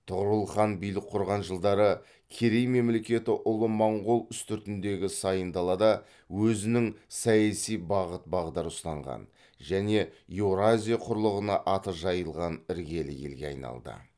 тұғырыл хан билік құрған жылдары керей мемлекеті ұлы монғол үстіртіндегі сайын далада өзінің саяси бағыт бағдар ұстанған және еуразия құрлығына аты жайылған іргелі елге айналды